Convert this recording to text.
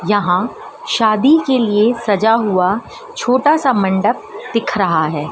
यहां शादी के लिए सजा हुआ छोटा सा मंडप दिख रहा है।